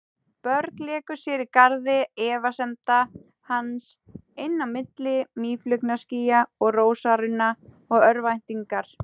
Börn léku sér í garði efasemda hans, inn á milli mýflugnaskýja og rósarunna og örvæntingar.